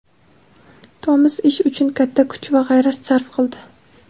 Tomas ish uchun katta kuch va g‘ayrat sarf qildi.